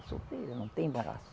É solteira, não tem embaraço